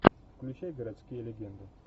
включай городские легенды